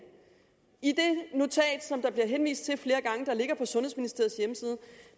i det notat som der bliver henvist til flere gange